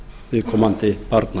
viðkomandi barna